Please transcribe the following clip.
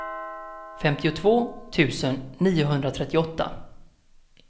femtiotvå tusen niohundratrettioåtta